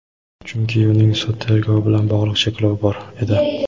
chunki uning sud tergovi bilan bog‘liq cheklovi bor edi.